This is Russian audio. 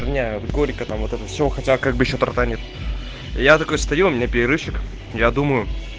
горько там вот это все хотел как бы что-то нет я такой стремный перерывчик я думаю